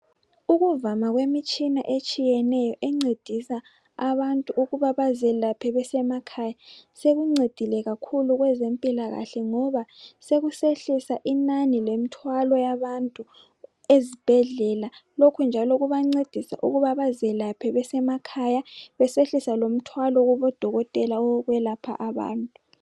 Ukuvalwa kwemitshina etshiyeneyo encedisa abantu ukuba bazelaphe besemakhaya. Selincedile kakhulu bezempilakahle ngoba sekusehlisa inani lemthwalo yabantu ezibhedlela lokhu njalo kubancedisa ukuba bezelaphe besemakhaya besehlisa lomthwalo kubodokotela owokwelapha abantu.